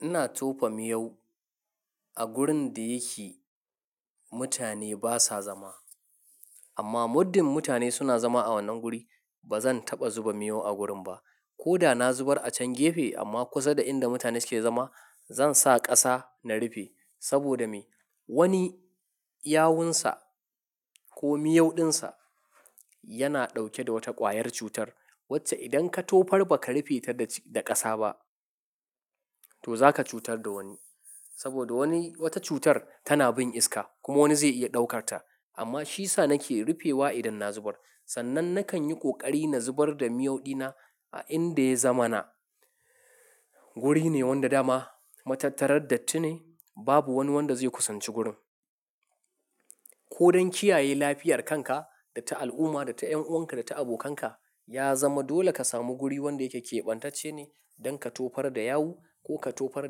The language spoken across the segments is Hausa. Ina tofa miyau a gurin da yake mutane basa zama. Amma muddin mutane suna zama a wannan gurin, bazan taɓa zuba miyau a gurin ba. Ko da na zubar a can gefe amma kusa da inda mutane suke zama, zansa ƙasa na rufe. Saboda me? Wani yawunsa ko miyau ɗinsa yana ɗauke da wata ƙwayar cutar wacce idan ka tofar baka rufe ta da ƙasa ba to zaka cutar da wani. Saboda wani wata cutar tana bin iska kuma wani zai iya ɗaukar ta. Amma shisa nake rufewa idan na zubar. Sannan nakan yi ƙoƙari na zubar da miyau ɗina a inda ya zamana. Guri ne wanda dama, matattarar dattine babu wani wanda zai kusanci gurin. Ko don kiyaye lafiyar kanka da ta al'umma da ta ƴan'uwanka da ta abokanka ya zama dole ka samu guri wanda yake keɓantacce ne don ka tofar da yawu ko ka tofar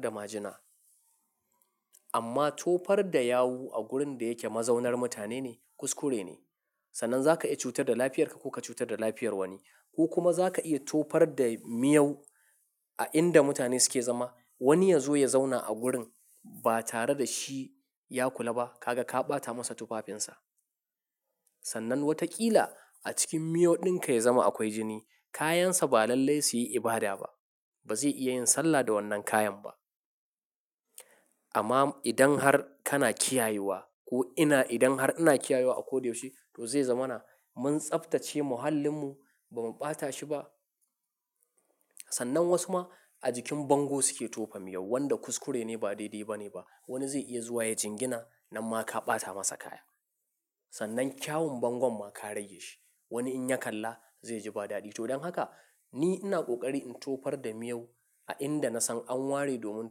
da majina. Amma tofar da yawu a gurin da yake mazaunar mutane ne kuskure ne. Sannan zaka iya cutar da lafiyarka ko ka cutar da lafiyar wani. Ko kuma zaka iya tofar da miyau a inda mutane suke zama. Wani ya zo ya zauna a gurin ba tare da shi ya kula ba, kaga ka ɓata masa tufafinsa. Sannan wataƙila a cikin miyau ɗinka ya zama akwai jini. Kayansa ba lallai su yi ibada ba. Bazai iya yin sallah da wannan kayan ba. Amma idan har kana kiyayewa ko ina idan har ina kiyayewa a ko da yaushe to zai zamana mun tsaftace muhalinmu bamu ɓata shi ba. Sannan wasu ma a jikin bango suke tofa miyau wanda kuskure ne ba daidai ba ne ba. Wani zai iya zuwa ya jingina nan ma ka ɓata masa kaya. Sannan kyawun bangon ma ka rage shi. Wani in ya kalla zai ji ba daɗi. To don haka ni ina ƙoƙari in tofar da miyau a inda nasan an ware domin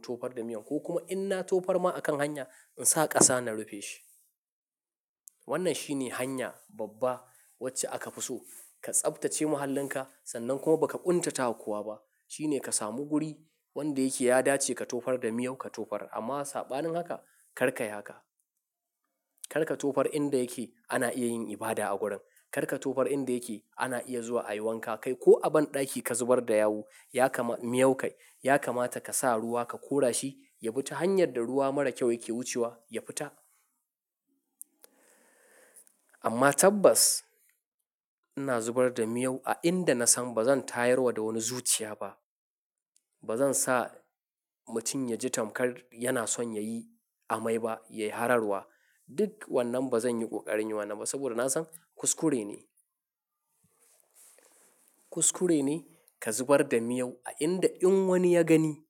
tofar da miyau ko kuma inna tofar ma a kan hanya in sa ƙasa na rufe shi. Wannan shine hanya babba wacce aka fi so. Ka tsaftace muhalin ka sannan kuma baka ƙuntata wa kowa ba. Shine ka samu guri wanda yake ya dace ka tofar da miyau ka tofar. Amma saɓanin haka karka yi haka. Karka tofar inda yake ana iya yin ibada a gurin. Karka tofar inda yake ana iya zuwa a yi wanka kai ko a banɗaki ka zubar da yawu ya kama miyau kai ya kamata ka sa ruwa ka kora shi ya bita hanyar da ruwa mara kyau yake wucewa ya fita. Amma tabbas ina zubar da miyau a inda nasan bazan tayarwa da wani zuciya ba. Bazan sa mutum ya ji tamkar yana son yayi amai ba ya yi hararwa. Duk wannan bazan yi ƙoƙarin yi wannan ba saboda nasan kuskure ne. Kuskure ne ka zubar da miyau a inda in wani ya gani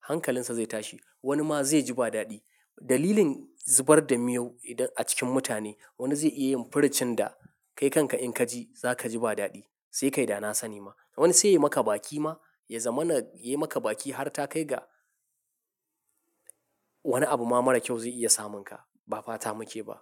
hankalinsa zai tashi. Wani ma zai ji ba daɗi. Dalilin zubar da miyau idan a cikin mutane wani zai iya yin furucin da kai kanka in ka ji zaka ji ba daɗi sai ka yi dana sani ma. Wani sai ya maka baki ma ya zamana ya yi maka baki har ta kai ga wani abu ma mara kyau zai iya samun ka. Ba fata muke ba.